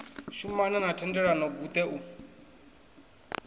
shumana na thendelano guṱe u